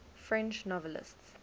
french novelists